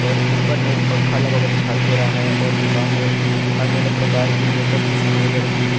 और ऊपर मे एक पंखा लगा हुआ दिखाई दे रहा है और दुकान में अन्य अन्य प्रकार की मेकप की समाग्रिया रखी हुई--